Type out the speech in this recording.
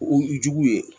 O jugu ye